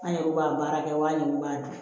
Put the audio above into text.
An yɛrɛ bɛ ka baara kɛ wa min b'a di